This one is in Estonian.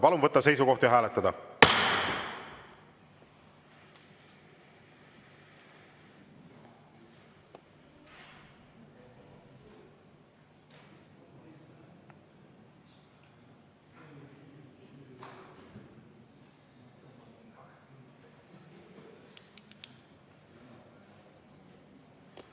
Palun võtta seisukoht ja hääletada!